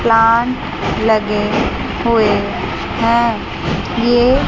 plant लगे हुए हैं ये--